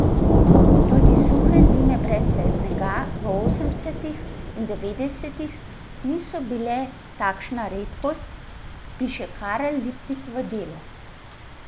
Tudi suhe zime brez snega v osemdesetih in devetdesetih niso bile takšna redkost, piše Karel Lipnik v Delu.